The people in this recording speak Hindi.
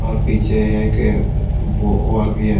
और पीछे एक वाल भी है।